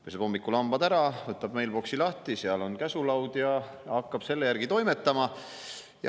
Peseb hommikul hambad ära, võtab meilboksi lahti, seal on käsulaud, ja hakkab selle järgi toimetama.